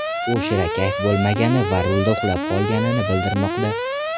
U shirakayf bo‘lmagani va rulda uxlab qolgani bildirilmoqda.